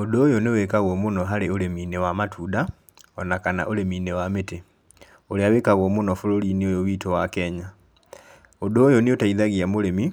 Ũndũ ũyũ nĩ wĩkagwo mũno harĩ ũrĩminĩ wa matunda, ona kana ũrĩminĩ wa mĩtĩ ũrĩa wĩkagwo mũno bũrũri-inĩ ũyũ witũ wa Kenya, ũndũ ũyũ nĩ ũteithagia mũrĩmi,